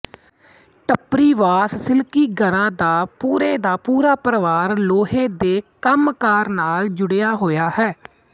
ਟੱਪਰੀਵਾਸ ਸਿਕਲੀਗਰਾ ਦਾ੍ ਪੂਰੇ ਦਾ ਪੂਰਾ ਪਰਿਵਾਰ ਲੋਹੇ ਦੇ ਕੰਮਕਾਰ ਨਾਲ ਜੁੜਿਆ ਹੋਇਆ ਹੈ